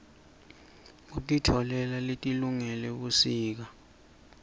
kukitoala letilungele busika